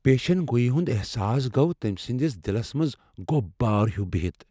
پیش گوئی ہُند احساس گو تمہِ سندِس میادس منز گۄب بھار ہِیوٗ بِہِتھ ۔